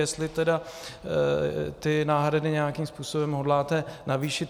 Jestli tedy ty náhrady nějakým způsobem hodláte navýšit.